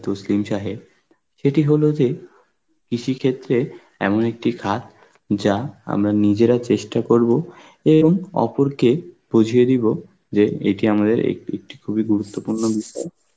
তসলিম সাহেব সেটি হলো যে কৃষি ক্ষেত্রে এমন একটি খাত যা আমরা নিজেরা চেষ্টা করব এরম অপরকে বুঝিয়ে দিব যে এটি আমাদের এক~ এক একটি খুবই গুরুত্বপূর্ণ বিষয়